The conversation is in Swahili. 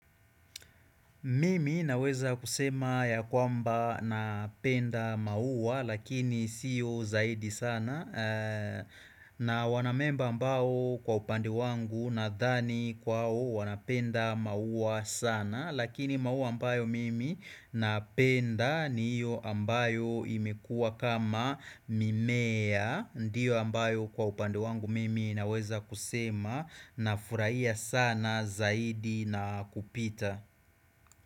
Mimi naweza kusema ya kwamba napenda maua lakini siyo zaidi sana na wanamemba ambao kwa upande wangu nadhani kwao wanapenda maua sana Lakini maua ambayo mimi napenda ni hiyo ambayo imekua kama mimea Ndiyo ambayo kwa upande wangu mimi naweza kusema na furahia sana zaidi na kupita.